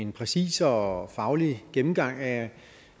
en præcis og faglig gennemgang af